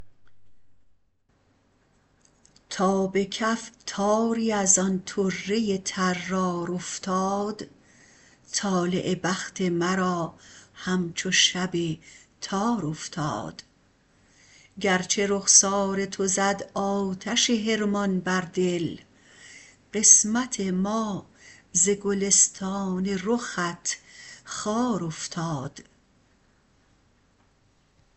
تا به کف تاری از آن طره طرار افتاد طالع بخت مرا همچو شب تار افتاد گرچه رخسار تو زد آتش حرمان بر دل قسمت ما ز گلستان رخت خار افتاد